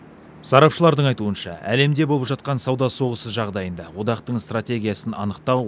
сарапшылардың айтуынша әлемде болып жатқан сауда соғысы жағдайында одақтың стратегиясын анықтау